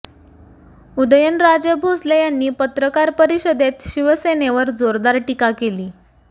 उद्यन राजे भाेसले यांनी पत्रकार परिषदेत शिवसेनेवर जाेरदार टीका केली